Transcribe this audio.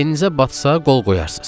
Beyninizə batsa qol qoyarsız.